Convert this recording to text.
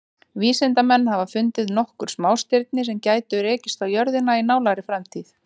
Vísindamenn hafa fundið nokkur smástirni sem gætu rekist á jörðina í nálægri framtíð.